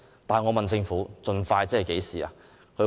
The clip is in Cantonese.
但我問政府盡快的意思是何時？